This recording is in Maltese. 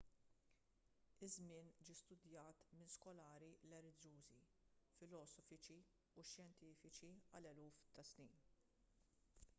iż-żmien ġie studajt minn skolari reliġjużi filosofiċi u xjentifiċi għal eluf ta' snin